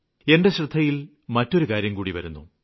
എന്റെ ശ്രദ്ധയില് മറ്റൊരു കാര്യംകൂടി വരുന്നു